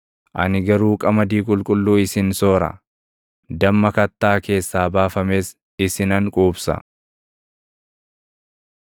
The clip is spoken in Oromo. Ani garuu qamadii qulqulluu isin soora; damma kattaa keessaa baafames isinan quubsa.”